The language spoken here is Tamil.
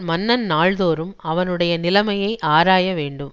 மன்னன் நாள்தோறும் அவனுடைய நிலைமையை ஆராய வேண்டும்